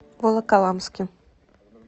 волоколамске